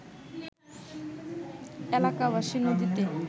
এলাকাবাসী নদীতে